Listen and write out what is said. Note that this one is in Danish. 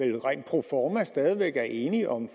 jo rent proforma stadig væk er enige om